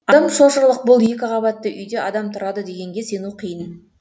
адам шошырлық бұл екі қабатты үйде адам тұрады дегенге сену қиын